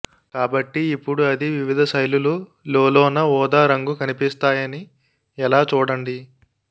కాబట్టి ఇప్పుడు అది వివిధ శైలులు లోలోన ఊదా రంగు కనిపిస్తాయని ఎలా చూడండి